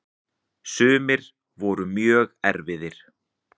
Sumir voru mjög erfiðir.